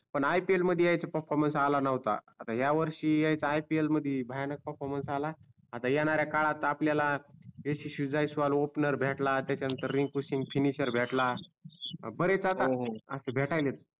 पण IPL मध्ये यांच्या perfromance आला नोहता आता हाय वर्षी याच्या IPL मध्ये भयानक perfromance आला आता येणाऱ्या काळात आता आपल्याला यशस्वि जयस्वाल opener भेटला त्याच्या नंतर रिंकू सिंग finisher भेटला बरेच आता हो हो असे भेटालयत